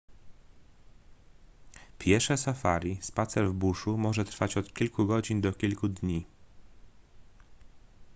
piesze safari spacer w buszu” może trwać od kilku godzin do kilku dni